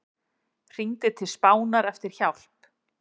Hringdi til Spánar eftir hjálp